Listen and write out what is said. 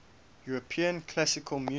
european classical music